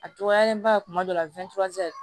A dɔgɔyalenba kuma dɔ la